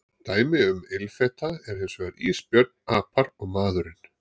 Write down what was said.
Dæmi um ilfeta eru hins vegar ísbjörn, apar og maðurinn.